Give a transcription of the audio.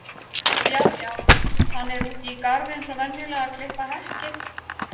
Já já, hann er úti í garði eins og venjulega að klippa hekkið.